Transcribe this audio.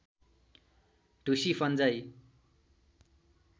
ढुसी फन्जाइ